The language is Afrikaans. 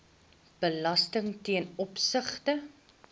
belasting ten opsigte